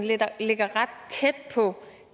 ligger ret tæt på